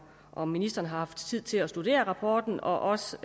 om ministeren har haft tid til at studere rapporten og også